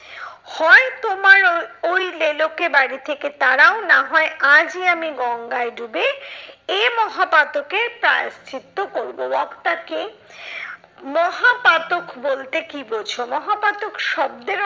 হয় তোমার ওই ওই লেলোকে বাড়ি থেকে তাড়াও নাহয় আজই আমি গঙ্গায় ডুবে এ মহাপাতকের প্রায়শ্চিত্ত করবো। বক্তা কে? মহাপাতক বলতে কি বোঝো? মহাপাতক শব্দের